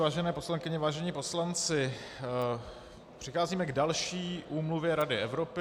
Vážené poslankyně, vážení poslanci, přicházíme k další úmluvě Rady Evropy.